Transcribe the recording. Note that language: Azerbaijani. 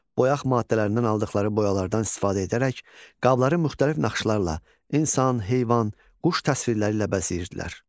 Boyaq maddələrindən aldıqları boyalardan istifadə edərək qabları müxtəlif naxışlarla, insan, heyvan, quş təsvirləri ilə bəzəyirdilər.